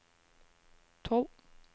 tolv